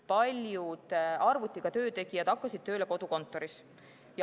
Paljud arvutiga töö tegijad hakkasid tööle kodukontoris.